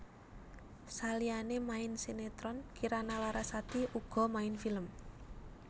Saliyané main sinetron Kirana Larasati uga main film